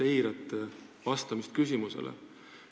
Te eirate täielikult küsimusele vastamist.